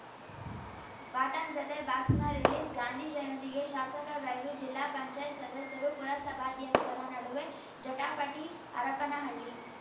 bottom ಜತೆ box ರಿಲೀಸ್‌ಗಾಂಧಿ ಜಯಂತಿಗೆ ಶಾಸಕ ಗೈರು ಜಿಲ್ಲಾ ಪಂಚಾಯತ್ ಸದಸ್ಯರು ಪುರಸಭಾಧ್ಯಕ್ಷರ ನಡುವೆ ಜಟಾಪಟಿ ಹರಪನಹಳ್ಳಿ